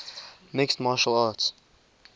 mixed martial arts